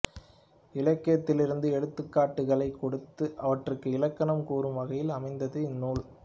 இலக்கியத்திலிருந்து எடுத்துக்காட்டுகளைக் கொடுத்து அவற்றுக்கு இலக்கணம் கூறும் வகையில் அமைந்தது இந்நூல்